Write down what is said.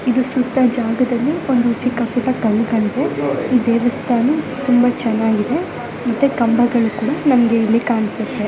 ಇದು ಸುತ್ತ ಜಾಗದಲ್ಲಿ ಒಂದು ಚಿಕ್ಕ ಪುಟ್ಟ ಕಲ್ಲುಗಳಿದೆ ಈ ದೇವಸ್ಥಾನ ತುಂಬಾ ಚೆನ್ನಾಗಿದೆ ಮತ್ತೆ ಕಂಬಗಳು ಕೂಡ ನಮಗೆ ಇಲ್ಲಿ ಕಾಣಿಸುತ್ತೆ